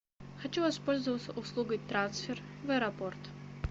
хочу воспользоваться услугой трансфер в аэропорт